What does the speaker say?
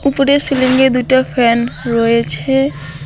উপরে সিলিংয়ে দুইটা ফ্যান রয়েছে।